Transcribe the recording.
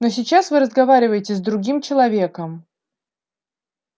но сейчас вы разговариваете с другим человеком